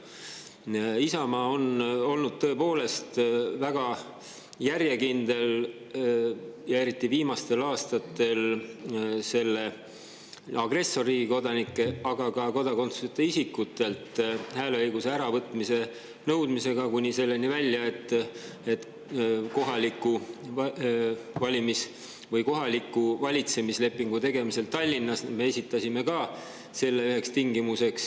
Isamaa on olnud tõepoolest väga järjekindel, eriti viimastel aastatel, agressorriigi kodanikelt, aga ka kodakondsuseta isikutelt hääleõiguse äravõtmise nõudmisega, kuni selleni välja, et kohaliku valitsemislepingu tegemisel Tallinnas me esitasime selle üheks tingimuseks.